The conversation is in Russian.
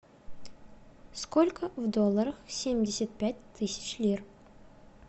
сколько в долларах семьдесят пять тысяч лир